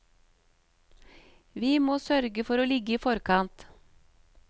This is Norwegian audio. Vi må sørge for å ligge i forkant.